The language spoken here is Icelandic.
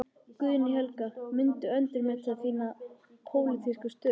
Guðný Helga: Muntu endurmeta þína pólitísku stöðu?